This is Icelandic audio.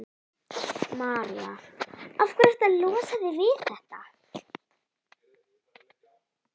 María: Af hverju ertu að losa þig við þetta?